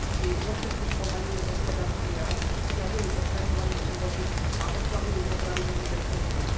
Jej dôsledky spomaľujú hospodársky rast, sťažujú odstraňovanie chudoby a oslabujú potravinovú bezpečnosť.